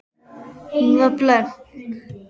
Hún var blönk.